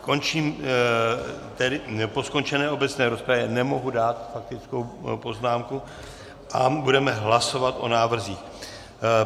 Po skončené obecné rozpravě nemohu dát faktickou poznámku a budeme hlasovat o návrzích.